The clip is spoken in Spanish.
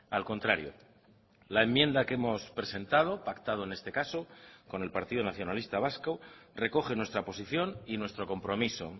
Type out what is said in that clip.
al contrario la enmienda que hemos presentado pactado en este caso con el partido nacionalista vasco recoge nuestra posición y nuestro compromiso